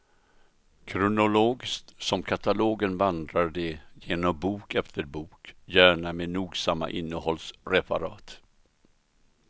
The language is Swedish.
Kronologiskt som katalogen vandrar de igenom bok efter bok, gärna med nogsamma innehållsreferat.